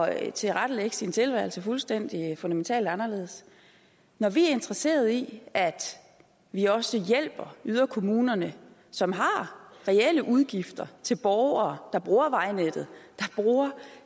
at tilrettelægge sin tilværelse fuldstændig fundamentalt anderledes når vi er interesserede i at vi også hjælper yderkommunerne som har reelle udgifter til borgere der bruger vejnettet